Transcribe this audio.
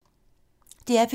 DR P2